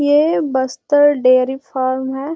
ये Bastar dairy farm है।